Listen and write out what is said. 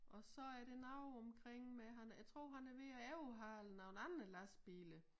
Og så det noget omkring med han jeg tror han er ved at ovehæle nogen andre lastbiler